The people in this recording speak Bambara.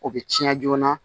O bɛ tiɲɛ joona